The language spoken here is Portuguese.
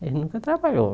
Eles nunca trabalharam.